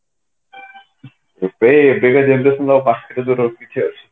ଏବେ ଏବେ ଆଉ ପାଖରେ